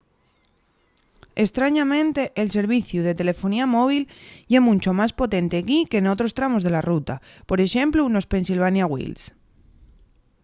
estrañamente el serviciu de telefonía móvil ye muncho más potente equí qu’en munchos otros tramos de la ruta por exemplu nos pennsylvania wilds